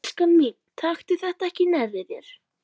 Elskan mín, taktu þetta ekki nærri þér.